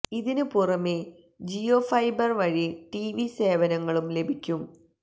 ഇതിന് പുറമേ ജിയോ ഫൈബര് വഴി ടിവി സേവനങ്ങളും ലഭിക്കും